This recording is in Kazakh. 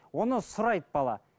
оны сұрайды бала